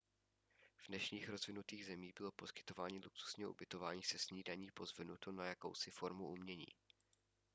v dnešních rozvinutých zemích bylo poskytování luxusního ubytování se snídaní pozvednuto na jakousi formu umění